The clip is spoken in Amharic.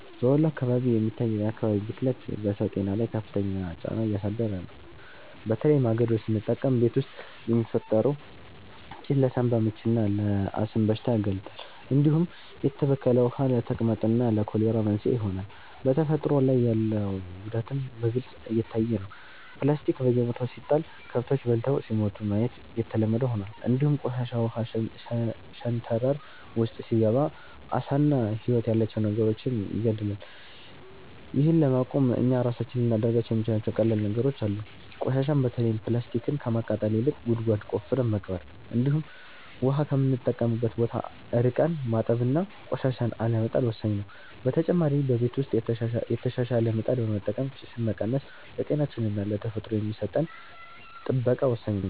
በወሎ አካባቢ የሚታየው የአካባቢ ብክለት በሰው ጤና ላይ ከፍተኛ ጫና እያሳደረ ነው፤ በተለይ ማገዶ ስንጠቀም ቤት ውስጥ የሚፈጠረው ጭስ ለሳንባ ምችና ለአስም በሽታ ያጋልጣል፣ እንዲሁም የተበከለ ውሃ ለተቅማጥና ለኮሌራ መንስኤ ይሆናል። በተፈጥሮ ላይ ያለው ጉዳትም በግልጽ እየታየ ነው፤ ፕላስቲክ በየቦታው ሲጣል ከብቶች በልተው ሲሞቱ ማየት የተለመደ ሆኗል፣ እንዲሁም ቆሻሻ ውሃ ሸንተረር ውስጥ ሲገባ ዓሳና ህይወት ያላቸው ነገሮችን ይገድላል። ይህን ለማቆም እኛ ራሳችን ልናደርጋቸው የምንችላቸው ቀላል ነገሮች አሉ፤ ቆሻሻን በተለይም ፕላስቲክን ከማቃጠል ይልቅ ጉድጓድ ቆፍረን መቅበር፣ እንዲሁም ውሃ ከምንጠቀምበት ቦታ ርቀን ማጠብና ቆሻሻን አለመጣል ወሳኝ ነው። በተጨማሪ በቤት ውስጥ የተሻሻለ ምጣድ በመጠቀም ጭስን መቀነስ ለጤናችንና ለተፈጥሮ የሚሰጠን ጥበቃ ወሳኝ ነው።